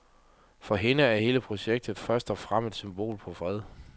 For hende er hele projektet først og fremmest et symbol på fred.